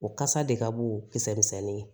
O kasa de ka bon kisɛ misɛnnin ye